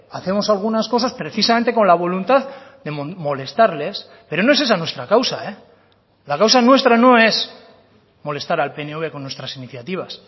hacemos algunas cosas precisamente con la voluntad de molestarles pero no es esa nuestra causa la causa nuestra no es molestar al pnv con nuestras iniciativas